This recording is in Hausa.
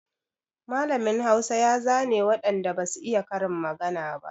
Mallamin Hausa ya zane waɗan da ba su iya karin magana ba.